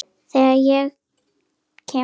Þegar ég kem á